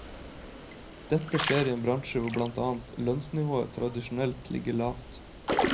Dette skjer i en bransje hvor blant annet lønnsnivået tradisjonelt ligger lavt.